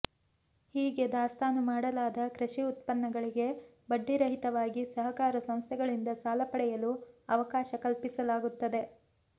ಹೀಗೆ ದಾಸ್ತಾನು ಮಾಡಲಾದ ಕೃಷಿ ಉತ್ಪನ್ನಗಳಿಗೆ ಬಡ್ಡಿ ರಹಿತವಾಗಿ ಸಹಕಾರ ಸಂಸ್ಥೆಗಳಿಂದ ಸಾಲ ಪಡೆಯಲು ಅವಕಾಶ ಕಲ್ಪಿಸಲಾಗುತ್ತದೆ